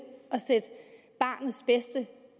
barnets bedste